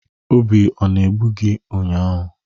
Obi ọ na-egbu gị ụnyahụ?